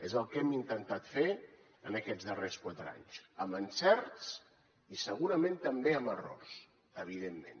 és el que hem intentat fer en aquests darrers quatre anys amb encerts i segurament també amb errors evidentment